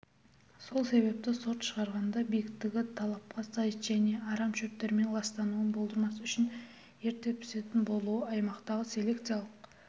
сол себепті сорт шығарғанда биіктігі талапқа сай және арам шөптермен ластануын болдырмас үшін ерте пісетін болуы аймақтағы селекциялық